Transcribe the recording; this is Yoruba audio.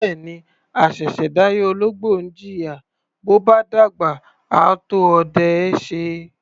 Bẹ́ẹ̀ni, àṣẹ̀ṣẹ̀ dáyé ológbò ni í jìyà, bó bá dàgbà, á tó ọdẹ ẹ́ ṣe.